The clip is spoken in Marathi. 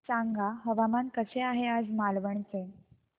सांगा हवामान कसे आहे आज मालवण चे